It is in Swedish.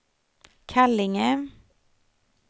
Kallinge